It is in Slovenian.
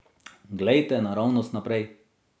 Glejte naravnost naprej.